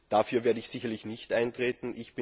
Dafür werde ich sicherlich nicht eintreten.